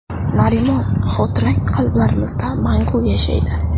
Narimon, xotirang qalblarimizda mangu yashaydi.